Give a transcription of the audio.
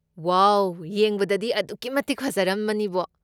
ꯋꯥꯎ! ꯌꯦꯡꯕꯗꯗꯤ ꯑꯗꯨꯛꯀꯤꯃꯇꯤꯛ ꯐꯖꯔꯝꯃꯅꯤꯕꯣ꯫